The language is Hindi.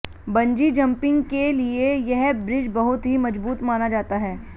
बंजी जम्पिंग के लिए यह ब्रिज बहुत ही मजबूत माना जाता है